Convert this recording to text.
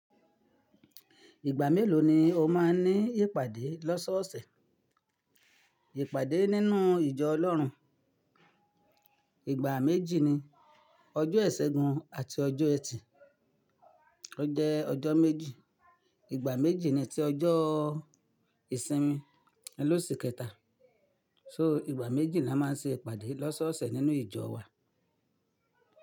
Ìgbà mélòó ni o máa ń ní ìpàdé lọ́sọ́ọ̀ọ̀sẹ̀? Ìpàdé nínú ìjọ Ọlọ́run, ìgbà méjì ni, ọjọ́ Ìṣẹ́gun àti ọjọ́ ẹtì, ó jẹ́ ọjọ́ méjì. Ìgbà méjì ni tí ọjọ́ ìsinmi n'ló ṣ'ikẹta. So ìgbà méjì l'a máa ń ṣe ìpàdé lọ́sọ́ọ̀ọ̀sẹ̀ nínú ìjọ wa.